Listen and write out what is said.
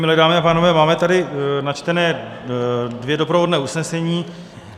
Milé dámy a pánové, máme tady načtená dvě doprovodná usnesení.